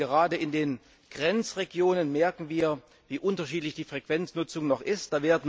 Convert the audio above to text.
Denn gerade in den Grenzregionen merken wir, wie unterschiedlich die Frequenznutzung noch ist.